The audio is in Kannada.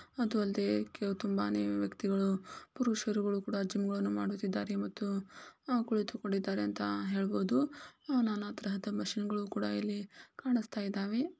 ಅದಲ್ದೆ ತುಂಬಾನೇ ವ್ಯಕ್ತಿಗಳು ಪುರುಷರುಗಳು ಕೂಡ ಜಿಮ್ ಅನ್ನು ಮಾಡುತ್ತಿದ್ದಾರೆ . ಮತ್ತು ಕುಳಿತುಕೊಂಡಿದ್ದಾರೆ ಅಂತ ಹೇಳಬಹುದು ನಾನಾ ತರಹದ ಮಷೀನ್ ಗಳು ಕೂಡ ಇಲ್ಲಿ ಕನಿಷ್ಠ ಇದಾವೆ .